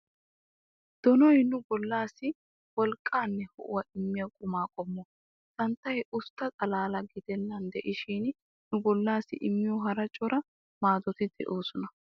Donoy nu bollaassi wolqqaanne ho'uwaa immiya qumaa qommo. Santtay ustta xalaala gidennan de'ishin nu bollaassi immiyo hara cora maadoti de"oosona.